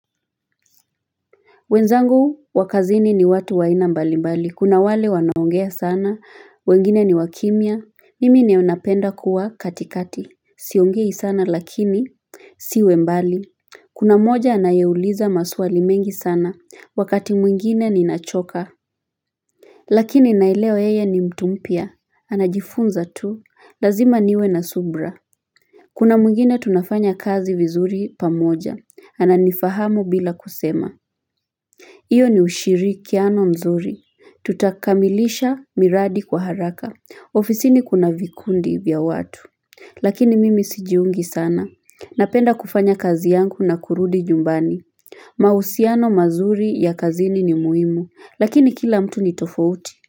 Wenzangu wa kazini ni watu wa aina mbali mbali. Kuna wale wanaongea sana. Wengine ni wakimia. Mimi ndio napenda kuwa katikati. Siongei sana lakini nisiwe mbali. Kuna mmoja anayeuliza maswali mengi sana. Wakati mwingine ninachoka. Lakini naelewa yeye ni mtu mpya. Anajifunza tu. Lazima niwe na subira. Kuna mwingine tunafanya kazi vizuri pamoja. Ananifahamu bila kusema. Iyo ni ushirikiano mzuri. Tutakamilisha miradi kwa haraka. Ofisini kuna vikundi vya watu. Lakini mimi sijiungi sana. Napenda kufanya kazi yangu na kurudi nyumbani. Mahusiano mazuri ya kazini ni muhimu. Lakini kila mtu ni tofauti.